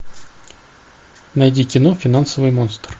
найди кино финансовый монстр